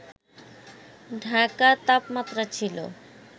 ঢাকার তাপমাত্রা ছিল